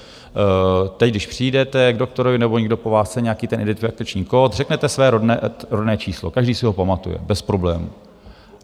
Teď, když přijdete k doktorovi nebo někdo po vás chce nějaký ten identifikační kód, řeknete své rodné číslo, každý si ho pamatuje bez problémů.